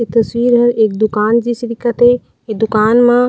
एक तस्वीर हे एक दूकान जईसी दिखत हे ए दूकान म--